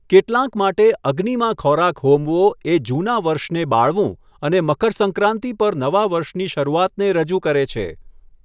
કેટલાંક માટે અગ્નિમાં ખોરાક હોમવો એ જૂના વર્ષને બાળવું અને મકર સંક્રાતિ પર નવા વર્ષની શરૂઆતને રજૂ કરે છે.